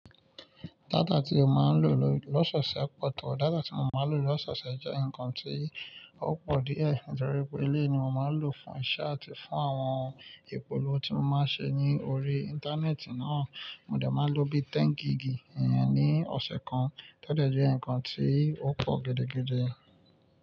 Data tí ó máa ń lò lọ́sese pọ̀to, data tí mo máa ń lò lọ́seṣe jẹ́ ǹkan tí ó pọ̀ díẹ̀, nítorí pé eleyii ni mo máa ń lò fún iṣẹ́ àti fún àwọn ìpolówó tí mo máa ń ṣe ní orí íńtánẹ́ẹ̀tì náà. Mo dà máa ń lò bí i 10 gigì ní ọ̀sẹ̀ kan, tọ dọ̀ jẹ́ ǹkan tí ó pọ̀ gidigidi.